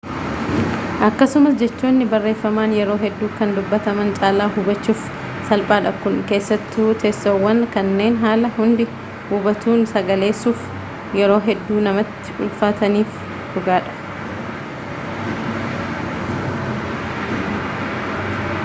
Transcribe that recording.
akkasumas jechoonni barrefaman yeroo heduu kan dubbataman calaa huubachuuf salphaadha kun keessattuu teessoowwan kanneen haala hundi hubatuun sagaleessuuf yeroo hedduu namatti ulfaataniif dhugaadha